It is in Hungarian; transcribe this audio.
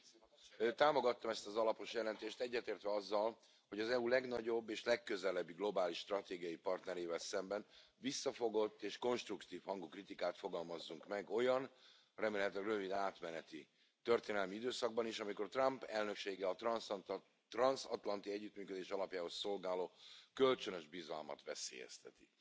Tisztelt Elnök úr! Támogattam ezt az alapos jelentést, egyetértve azzal, hogy az EU legnagyobb és legközelebbi globális stratégiai partnerével szemben visszafogott és konstruktív hangú kritikát fogalmazzunk meg olyan, remélhetőleg rövid, átmeneti történelmi időszakban is, amikor Trump elnöksége a transzatlanti együttműködés alapjául szolgáló kölcsönös bizalmat veszélyezteti.